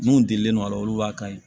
Mun delilen don a la olu b'a kan ye